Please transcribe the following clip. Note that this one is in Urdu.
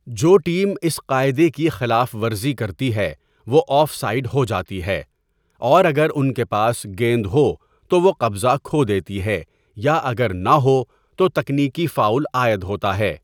جو ٹیم اس قاعدے کی خلاف ورزی کرتی ہے وہ آف سائیڈ ہو جاتی ہے اور اگر ان کے پاس گیند ہو تو وہ قبضہ کھو دیتی ہے یا اگر نہ ہو تو تکنیکی فاؤل عائد ہوتا ہے۔